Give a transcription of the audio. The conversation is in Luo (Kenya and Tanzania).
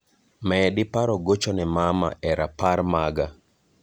Medi paro gocho ne mama e rapar maga